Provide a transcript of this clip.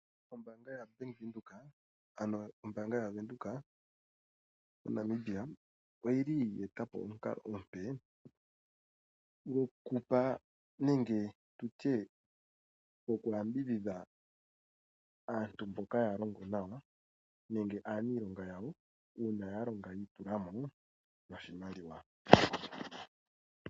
Ombanga ya Bank Widheok ano ombanga ya venduka moNamibia oyili yetapo omunkalo omupe ngokupa nenge tutye ngoku yambidhidha aantu mboka yalongo nawa nenge anilonga yawo una yalonga yitulamo noshimaliwa.